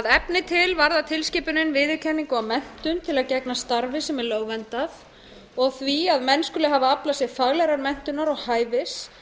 að efni til varðar tilskipunin viðurkenningu á menntun til að gegna starfi sem er lögverndað og því að menn skuli hafa aflað sér faglegrar menntunar og hæfis áður